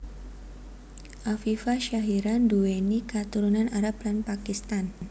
Afifa Syahira nduwèni katurunan Arab lan Pakistan